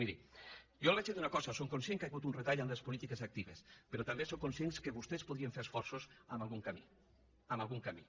miri jo li diré una cosa som conscients que hi ha hagut retall en les polítiques actives però també som conscients que vostès podien fer esforços en algun camí en algun camí